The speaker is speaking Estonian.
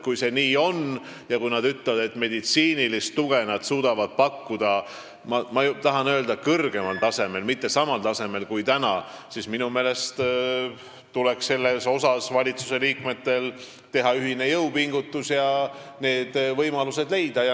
Kui see nii on ja kui nad ütlevad, et meditsiinilist tuge suudavad nad pakkuda kõrgemal tasemel, mitte samal tasemel kui täna, siis minu meelest tuleks valitsusliikmetel teha ühine jõupingutus ja need võimalused leida.